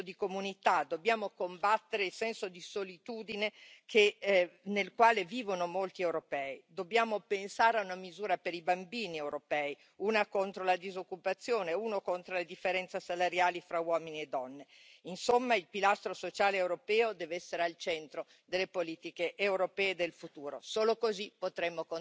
Aber leider klafft zwischen dem Versprechen und dem, was dann umgesetzt wird, oft eine große Lücke. 2015 haben Sie hier an diesem Ort ein funktionsfähiges europäisches Grenzschutzsystem in Aussicht gestellt. Drei Jahre später müssen wir feststellen, dass wir nicht weitergekommen sind, und auch die Umverteilung der Flüchtlinge ist nur mühsam in Gang gekommen nicht nur, weil einzelne Mitgliedstaaten blockiert haben, sondern weil auch auf Kommissionsebene vieles nur halbherzig und zögerlich angegangen wurde.